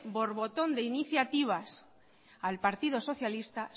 borbotón de iniciativas al partido socialista